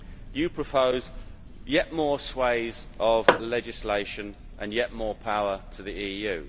You propose yet more swathes of legislation and yet more power to the EU.